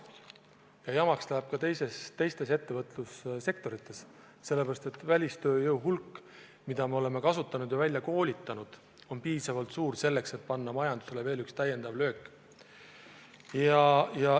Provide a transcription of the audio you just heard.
Ja jamaks läheb ka teistes ettevõtlussektorites, sellepärast et välistööjõu hulk, mida me seni oleme kasutanud ja välja koolitanud, on piisavalt suur, et anda majandusele veel üks löök.